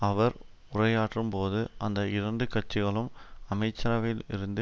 அவர் உரையாற்றும் போது அந்த இரண்டு கட்சிகளும் அமைச்சரவையில் இருந்து